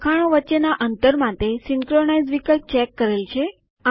લખાણો વચ્ચેના અંતર માટે સીન્કરોનાઈઝ વિકલ્પ ચેક કરેલ છે